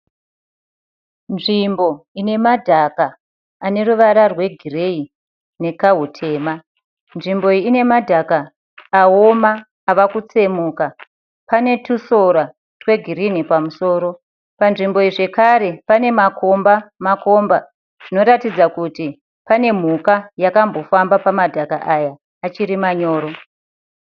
Nzvimbo ine madhaka ane ruvara rwegireyi nekahutema. Nzvimbo iyi ine madhaka awona avakutsemuka, pane tusora twegirini pamusoro. Panzvimbo iyi zvekare pane makomba makomba zvinoratidza kuti pane mhuka yakambofamba pamadhaka aya achiri manyoro.